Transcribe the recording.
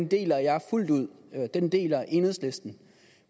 deler jeg fuldt ud den deler enhedslisten